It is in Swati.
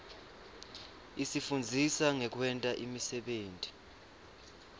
isifundzisa ngekwenta imisebenti